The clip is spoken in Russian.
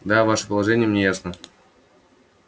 да ваше положение мне ясно